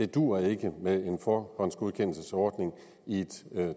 duer med en forhåndsgodkendelsesordning i et